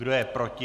Kdo je proti?